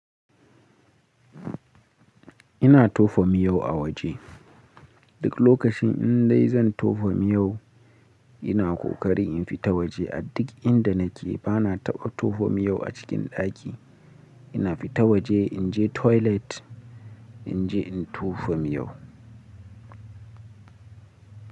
Ina tofa miyau a waje. Duk lokacin in dai zan tofa miyau, ina ƙoƙari in fita waje. A duk inda nake bana taɓa tofa miyau a cikin ɗaki. Ina fita waje, in je toilet, in je in tofa miyau.